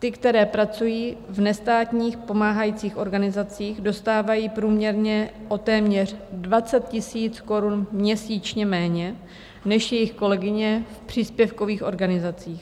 Ty, které pracují v nestátních pomáhajících organizacích, dostávají průměrně o téměř 20 000 korun měsíčně méně než jejich kolegyně v příspěvkových organizacích.